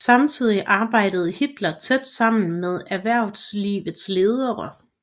Samtidig arbejdede Hitler tæt sammen med erhvervslivets ledere